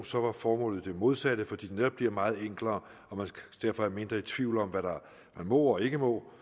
så var formålet det modsatte fordi det netop bliver meget enklere og man derfor er mindre i tvivl om hvad man må og ikke må